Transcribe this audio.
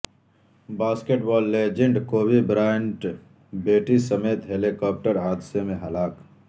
basket بال legend Kobe Bryant بیٹی سمیت helicopter حادثے میں ہلاک